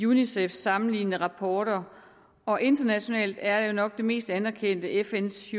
unicefs sammenlignende rapporter og internationalt er jo nok det mest anerkendte fns